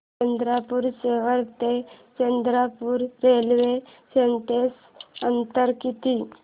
चंद्रपूर शहर ते चंद्रपुर रेल्वे स्टेशनचं अंतर किती